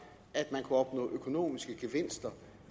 at man kunne opnå økonomiske gevinster